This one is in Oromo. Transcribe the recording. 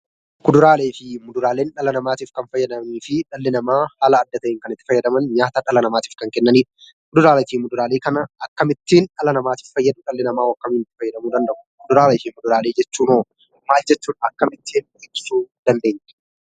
Kuduraalee fi Muduraaleen dhala namaatiif kan fayyadaniifii dhalli namaa mala adda ta'een kan itti fayyadaman nyaata dhala namaatiif kan kennanidha. Kuduraaleefi Muduraalee kana akkamittiin dhala namaatiif fayyadu? Dhalli namaa hoo akkamiin fayyadamuu danda'u? Kuduraalee fi Muduraalee jechuun hoo maal jechuudha? Akkamittiin ittisuu dandeenya?